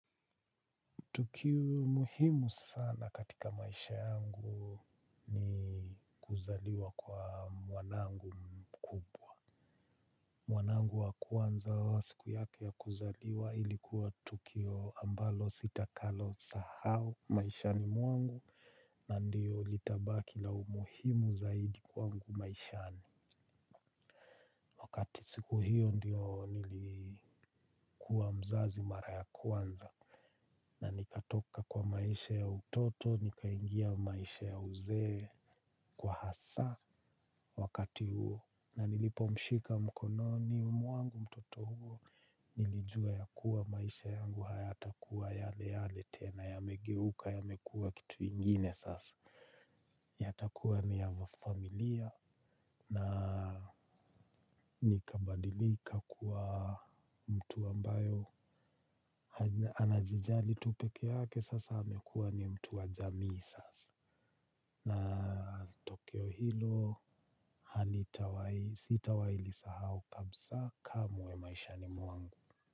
Tukio muhimu sana katika maisha yangu ni kuzaliwa kwa mwanangu mkubwa. Mwanangu wa kwanza wa siku yake ya kuzaliwa ilikuwa tukio ambalo sitakalo sahau maishani mwangu na ndiyo litabaki la umuhimu zaidi kwangu maishani. Wakati siku hiyo ndiyo nilikuwa mzazi mara ya kwanza. Na nikatoka kwa maisha ya utoto, nikaingia maisha ya uzee kwa hasa. Wakati huo. Na nilipo mshika mkono ni mwangu mtoto huo. Nilijua ya kuwa maisha yangu hayatakuwa yale yale tena. Yamegeuka yamekuwa kitu ingine sasa. Yatakuwa ni ya vafamilia na, nikabadilika kuwa mtu ambayo anajijali tu pekee yake sasa amekuwa ni mtu wa jamii sasa. Na tokio hilo halitawai sitawai lisahau kabsa kamwe maishani mwangu.